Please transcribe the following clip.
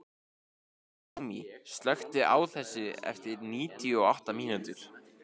Naomí, slökktu á þessu eftir níutíu og átta mínútur.